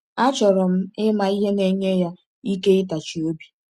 Achọrọ m ịma ihe na-enye ya ike ịtachi obi.